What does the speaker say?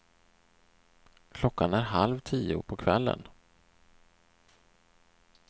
Klockan är halv tio på kvällen.